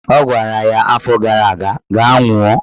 Ọ gwara ya afọ gara aga "Gaa nwụọ!